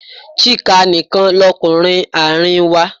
Chika nìkan lọkunrin àárín wa.